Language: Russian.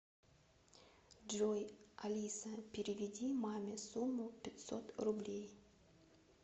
джой алиса переведи маме сумму пятьсот рублей